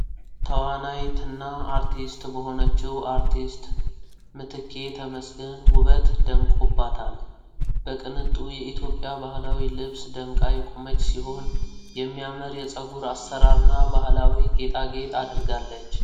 ተዋናይትና አርቲስት በሆነችው አርቲስት ምትኬ ተመስገን ውበት ደምቆባታል። በቅንጡ የኢትዮጵያ ባህላዊ ልብስ ደምቃ የቆመች ሲሆን፣ የሚያምር የፀጉር አሠራር እና ባህላዊ ጌጣጌጥ አድርጋለች።